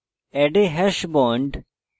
add a hash bond